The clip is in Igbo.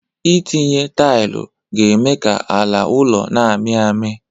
Ị tinye taịlu ga-eme ka ala ụlọ na-amị amị